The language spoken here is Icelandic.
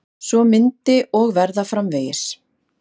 Svo myndi og verða framvegis.